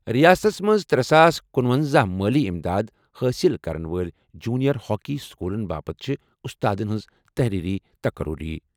رِیاستَس منٛز ترے ساس کنُۄنزہَ مٲلی اِمداد حٲصِل کَرن وٲلۍ جونیئر ہاکی سکوٗلَن باپتھ چھِ اُستادَن ہٕنٛز تحریری تقرری۔